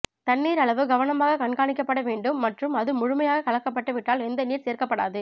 தண்ணீர் அளவு கவனமாக கண்காணிக்கப்பட வேண்டும் மற்றும் அது முழுமையாக கலக்கப்பட்டு விட்டால் எந்த நீர் சேர்க்கப்படாது